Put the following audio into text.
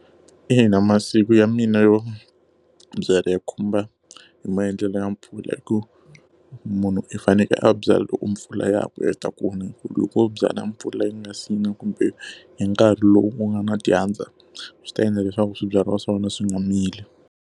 Ina masiku ya mina yo byala yi khumba hi maendlelo ya mpfula hikuva, munhu i fanekele a byala loko mpfula ya ku heta ku na. Hikuva loko u byala mpfula yi nga si na kumbe hi nkarhi lowu ku nga na dyandza, swi ta endla leswaku swibyariwa swa wena swi nga mili.